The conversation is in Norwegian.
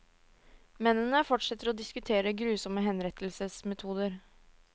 Mennene fortsetter å diskutere grusomme henrettelsesmetoder.